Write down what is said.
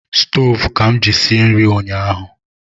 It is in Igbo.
Stove ka m ji sie nri nyahu